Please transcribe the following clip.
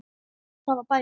Það er bænin.